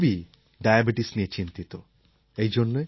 সমগ্র পৃথিবী ডায়াবেটিস নিয়ে চিন্তিত